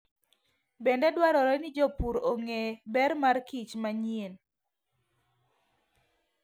Bende, dwarore ni jopur ong'e ber mar kich manyien.